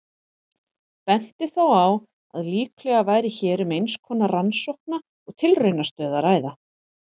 Benti þó á að líklega væri hér um eins konar rannsókna- og tilraunastöð að ræða.